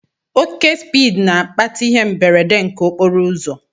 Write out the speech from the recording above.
Oke spiidi n'akpata ihe mberede nke okporoụzọ